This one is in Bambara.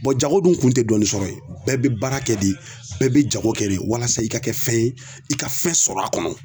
Bɔn jago dun kun te dɔɔnin sɔrɔ yen bɛɛ be baara kɛ de bɛɛ bɛ jago kɛ de walasa i ka kɛ fɛn ye i ka fɛn sɔrɔ a kɔnɔ